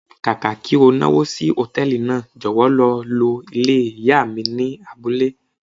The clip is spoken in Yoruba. Kàkà kí o náwó sí Hòtẹ́lìì náà, jọ̀wọ́ lọ lo ilé ìyá mi ni abúlé.